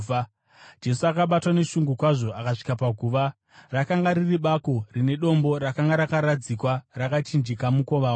Jesu, akabatwa neshungu kwazvo, akasvika paguva. Rakanga riri bako rine dombo rakanga rakaradzikwa rakachinjika mukova waro.